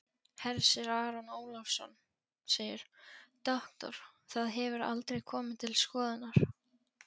Hersir Aron Ólafsson: Doktor, það hefur aldrei komið til skoðunar?